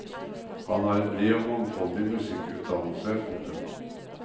Han har en bred og mangfolding musikkutdannelse. punktum